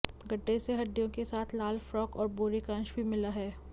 गड्ढे से हड्डियों के साथ लाल फ्रॉक और बोरे का अंश भी मिला है